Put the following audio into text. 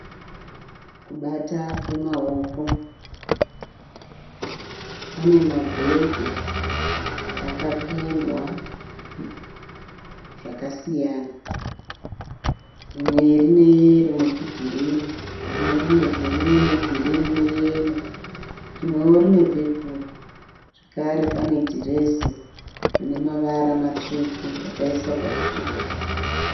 Kubata kwemaoko. Panemabhegi akapendwa zvakasiyana. Rumwe rineyero netugirinhi. Rimwe rine bhuruu negirinhi ne yero rimwe rinewo pepuri. Zvakare pane dhirezi rine mavara matsvuku rakaiswa pachidhori.